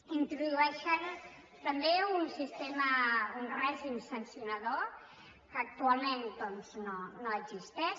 hi introdueixen també un sistema un règim sancionador que actualment no existeix